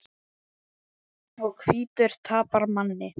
Og hvítur tapar manni.